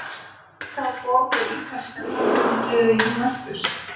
Frá hvaða borg er ítalska knattspyrnuliðið Juventus?